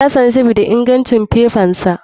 Yassanu sabida ingancin fifansa.